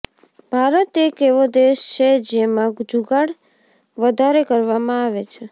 ભારત એક એવો દેશ છે જેમાં જુગાડ વધારે કરવામાં આવે છે